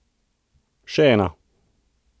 Še ena!